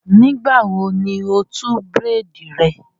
Nígbà wo ni o tú bírèèdì rẹ?